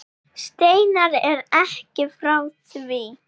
Steinar er ekki frá því.